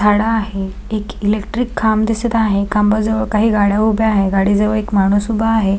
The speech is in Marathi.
झाड आहे एक इलेक्ट्रिक खांब दिसत आहे खांबा जवळ काही गाड्या उभ्या आहे गाडी जवळ एक माणूस उभा आहे.